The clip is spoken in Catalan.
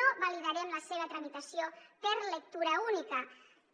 no validarem la seva tramitació per lectura única